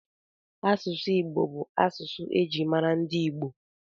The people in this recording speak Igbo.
Asụsụ Igbo bụ asụsụ e ji mara ndị Igbo